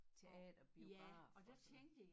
Teater biograf og sådan noget